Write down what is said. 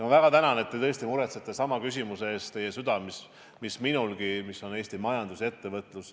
Ma väga tänan, et te tõesti muretsete sama küsimuse pärast, teil on südamel see mis minulgi – Eesti majandus ja ettevõtlus.